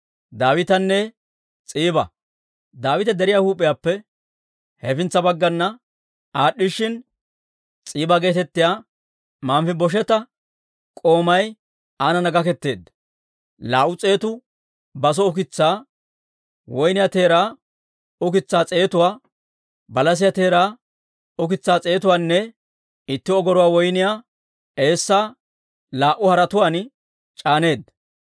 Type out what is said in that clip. Daawite deriyaa huup'iyaappe hefintsa baggana aad'd'ishshin, S'iiba geetettiyaa Manfibosheeta k'oomay aanana gaketeedda; laa"u s'eetu baso ukitsaa, woyniyaa teeraa ukitsaa s'eetuwaa, balasiyaa teeraa ukitsaa s'eetuwaanne itti ogoruwaa woyniyaa eessaa laa"u haretuwaan c'aaneedda.